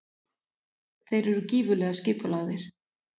Þeir eru gífurlega skipulagðir.